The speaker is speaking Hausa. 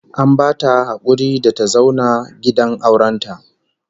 An bata hakuri da ta zauna gidan auren ta